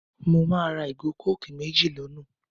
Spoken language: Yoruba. Mo máa ra ìgò kókìì méjì l'ọ́nà